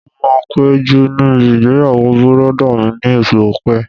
Mo máa péjú níbi ìgbéyàwó bùrọ̀dá mi ní oṣù ọ̀pẹ